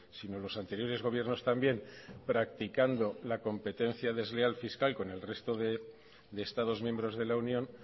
sino los anteriores gobiernos también practicando la competencia desleal fiscal con el resto de estados miembros de la unión